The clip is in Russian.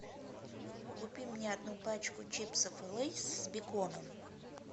купи мне одну пачку чипсов лейс с беконом